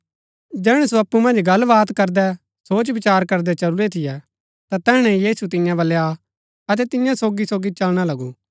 जैहणै सो अप्पु मन्ज गलबात करदै सोचविचार करदै चलुरै थियै ता तैहणै ही यीशु तियां बलै आ अतै तियां सोगीसोगी चलना लगू